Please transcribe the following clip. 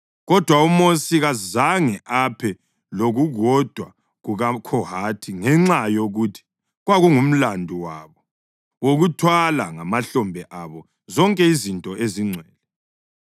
Kodwa uMosi kazange aphe lokukodwa kumaKhohathi, ngenxa yokuthi kwakungumlandu wabo wokuthwala ngamahlombe abo zonke izinto ezingcwele.